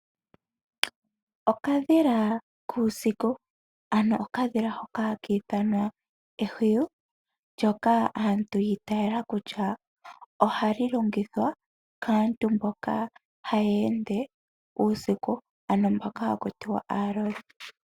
Okadhila kuusiku ano okadhila hoka haka ithanwa ehwiyu ndyoka aantu yiiteela kutya ohali longithwa kaantu mboka haya ende uusiku ano mboka haku tiwa aalodhi.